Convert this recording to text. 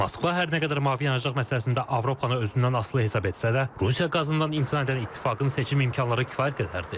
Moskva hər nə qədər mavi yanacaq məsələsində Avropanı özündən asılı hesab etsə də, Rusiya qazından imtina edən İttifaqın seçim imkanları kifayət qədərdir.